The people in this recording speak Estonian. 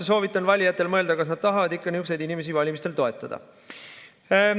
Soovitan valijatel mõelda, kas nad ikka tahavad niisuguseid inimesi valimistel toetada.